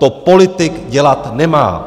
To politik dělat nemá.